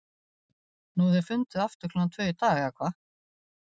Nú þeir funduðu aftur klukkan tvö í dag, eða hvað?